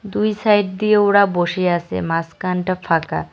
দুই সাইড দিয়ে ওরা বসে আসে মাজখানটা ফাঁকা।